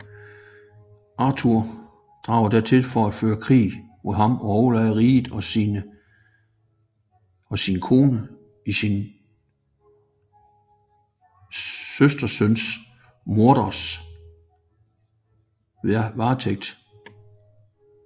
Arthur drager dertil for at føre krig mod ham og overlader riget og sin kone i sin søstersøn Mordreds varetægt